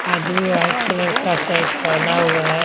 आदमी white colour का set पहना हुआ है।